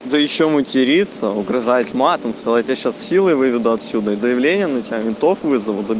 да ещё матерится угражать матом сказать я тебя сейчас силой выведу отсюда заявление на тебя ментов вызову